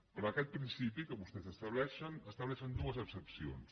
per a aquest principi que vostès establei·xen estableixen dues excepcions